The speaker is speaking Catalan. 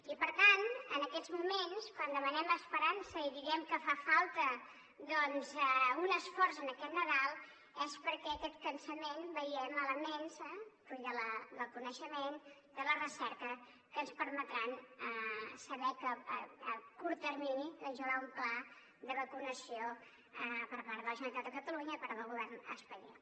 i per tant en aquests moments quan demanem esperança i diem que fa falta doncs un esforç en aquest nadal és perquè en aquest cansament hi veiem elements fruit del coneixement de la recerca que ens permetran saber que a curt termini doncs hi haurà un pla de vacunació per part de generalitat de catalunya i per part del govern espanyol